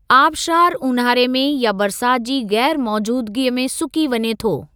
आबशारु ऊन्हारे में या बरसात जी ग़ैरु मौजूदगीअ में सुकी वञे थो।